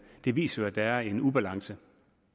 det viser jo at der er en ubalance